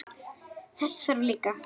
Þess þarf líka.